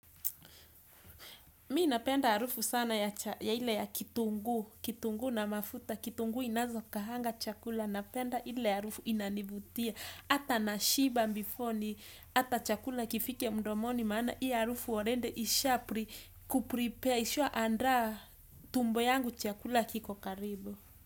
Mimi napenda harufu sana ya ile ya kitunguu, kitunguu na mafuta, kitunguu inavyokaanga chakula, napenda ile harufu inanivutia, hata nashiba before hata chakula kifike mdomoni, maana hii harufu already ishakuprepare, ishaandaa tumbo yangu chakula kiko karibu.